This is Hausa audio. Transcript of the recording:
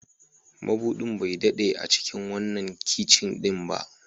Mabudin bai daɗe a cikin wannan kicin ɗin ba.